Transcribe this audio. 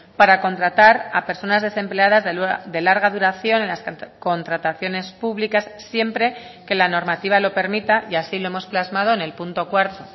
para contratar a personas desempleadas de larga duración en las contrataciones públicas siempre que la normativa lo permita y así lo hemos plasmado en el punto cuarto